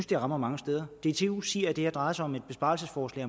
det rammer mange steder dtu siger at det her drejer sig om et besparelsesforslag